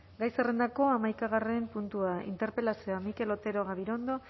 gai zerrendako hamaikagarren puntua interpelazioa mikel otero